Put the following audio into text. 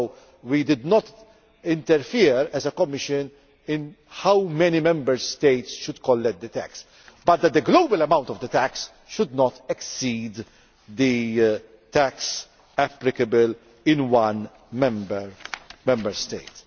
So we did not interfere as a Commission in how many Member States should collect, the tax but the global amount of the tax should not exceed the tax applicable in one Member State.